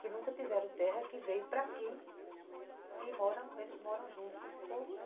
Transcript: que nunca tiveram terra, que veio para aqui e eles moram junto com esse povo.